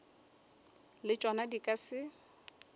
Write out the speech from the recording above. le tšona di ka se